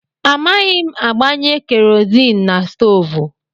Amaghị m agbanye kerọzin na stoovú.